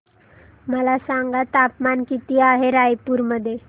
मला सांगा तापमान किती आहे रायपूर मध्ये